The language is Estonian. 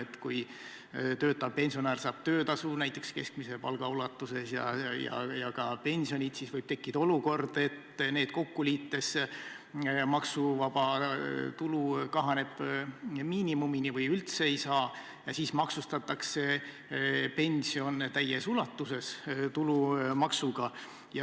Ja kui töötav pensionär saab töötasu näiteks keskmise palga ulatuses ja ka pensioni, siis võib tekkida olukord, et neid kokku liites maksuvaba tulu kahaneb miinimumini ja siis maksustatakse pension täies ulatuses tulumaksuga.